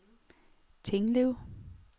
Tinglev